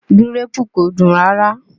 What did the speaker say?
Gíréèpù kò dùn rárá